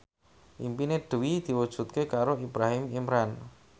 impine Dwi diwujudke karo Ibrahim Imran